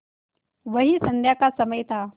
वही संध्या का समय था